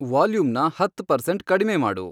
ವಾಲ್ಯೂಮ್ನ ಹತ್ತ್ ಪರ್ಸೆಂಟ್ ಕಡಿಮೆ ಮಾಡು